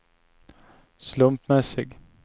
slumpmässig